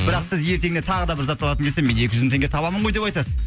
бірақ сіз ертеңінде тағы да бір зат алатын кезде мен екі жүз мың теңге табамын ғой деп айтасыз